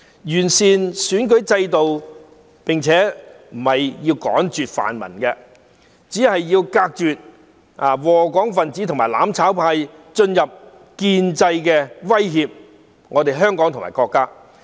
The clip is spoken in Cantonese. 完善選舉制度並不是要趕絕泛民，只是要隔絕禍港分子和"攬炒派"進入建制威脅香港和國家。